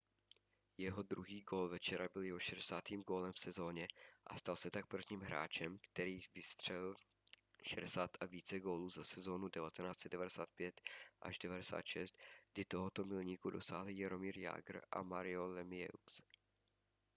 jeho druhý gól večera byl jeho 60. gólem v sezóně a stal se tak prvním hráčem který vstřelil 60 a více gólů za sezónu od 1995-96 kdy tohoto milníku dosáhli jaromír jágr a mario lemieux